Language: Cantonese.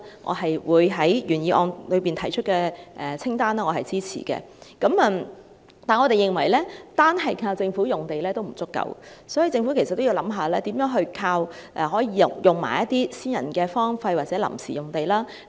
我對於原議案提出政府土地清單的建議表示支持，但我們認為單靠政府用地並不足夠，所以政府也要考慮如何運用私人荒廢或臨時用地。